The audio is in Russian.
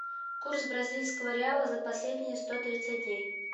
курс бразильского реала за последние сто тридцать дней